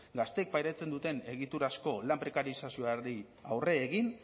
gazteek pairatzen duten egiturazko lan prekarizazioari aurre egin